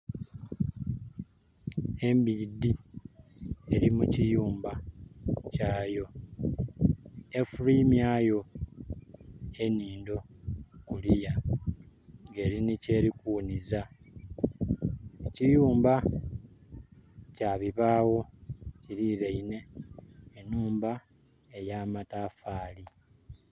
Embidhi eli mu kiyumba kyayo, efulwimyayo enhindo kuliya nga erina kyeri kughuniza. Ekiyumba kya bibawo kirineine enhumba eya matafali.